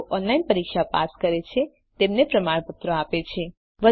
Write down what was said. જેઓ ઓનલાઇન પરીક્ષા પાસ કરે છે તેમને પ્રમાણપત્ર આપે છે